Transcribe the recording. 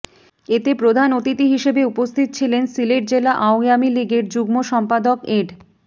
এতে প্রধান অতিথি হিসাবে উপস্থিত ছিলেন সিলেট জেলা আওয়ামী লীগের যুগ্ম সম্পাদক এড